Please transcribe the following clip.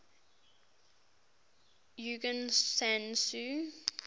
aung san suu